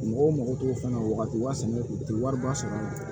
Mɔgɔw mago t'o fana na o wagati u ti wariba sɔrɔ a la